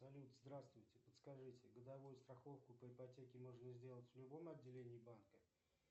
салют здравствуйте подскажите годовую страховку по ипотеке можно сделать в любом отделении банка